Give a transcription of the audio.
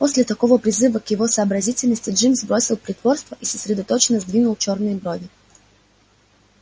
после такого призыва к его сообразительности джимс бросил притворство и сосредоточенно сдвинул чёрные брови